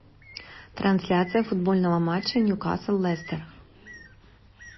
трансляция футбольного матча ньюкасл лестер